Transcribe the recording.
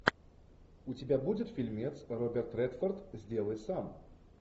у тебя будет фильмец роберт редфорд сделай сам